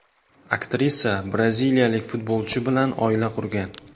Aktrisa braziliyalik futbolchi bilan oila qurgan.